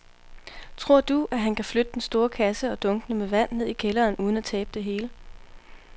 Tror du, at han kan flytte den store kasse og dunkene med vand ned i kælderen uden at tabe det hele?